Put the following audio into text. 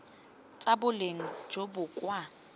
tsa boleng jo bo kwa